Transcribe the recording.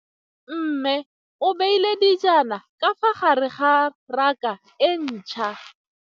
Mmê o beile dijana ka fa gare ga raka e ntšha.